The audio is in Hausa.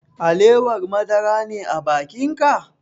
Alewar madara ne a bakin ka?